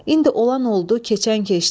İndi olan oldu, keçən keçdi.